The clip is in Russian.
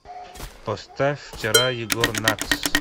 поставь вчера егор натс